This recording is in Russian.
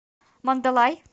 мандалай